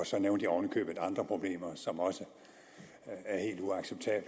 så nævnte jeg oven i købet andre problemer som også